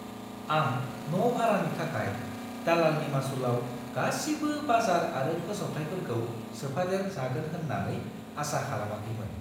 आं न' भारानि थाखाय दालालनि मासुलाव गासिबो बाजार आरो फोसावथाइफोरखौ सोफादेर जागोन होन्नानै आसा खालामाखैमोन।